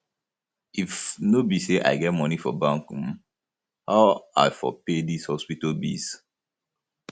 if no be say i get moni for bank um how i for pay dis hospital bills um